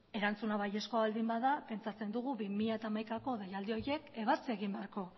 erantzuna baiezkoa baldin bada pentsatzen dugu bi mila hamaikako deialdi horiek ebatzi egin beharko